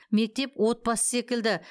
мектеп отбасы секілді